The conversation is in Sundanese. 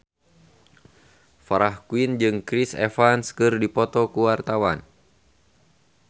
Farah Quinn jeung Chris Evans keur dipoto ku wartawan